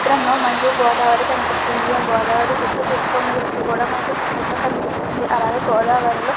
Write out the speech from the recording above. ఈ చిత్రంలో మనకి గోదావరి కనిపిస్తుంది. ఈ గోదావరి చుట్టూ ఇసుక కూడా ఉన్నట్టు మనకి ఈ దృశ్యం లోని కనిపిస్తుంది. అలాగే గోదావరిలో--